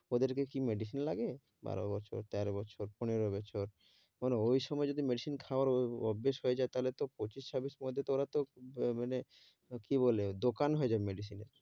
ওদেরকে কি medicine লাগে? বারো বছর তেরো বছর পনেরো বছর ঐ সময় যদি medicine খাওয়ার অ~ অভ্যেস হয়ে যায় তাহলে তো পঁচিশ ছাব্বিশ পর্যন্ত তো ওরা তো উম ম~ মানে আহ কী বলে দোকান হয়ে যাবে medicine এর।